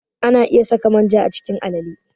Ana iya saka manja a cikin alale.